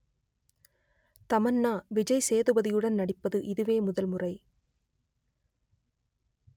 தமன்னா விஜய் சேதுபதியுடன் நடிப்பது இதுவே முதல் முறை